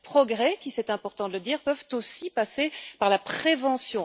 Progrès qui c'est important de le dire peuvent aussi passer par la prévention.